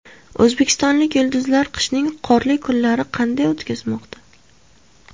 O‘zbekistonlik yulduzlar qishning qorli kunlarini qanday o‘tkazmoqda?.